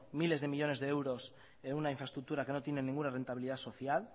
miles de millónes de euros en una infraestructura que no tiene ninguna rentabilidad social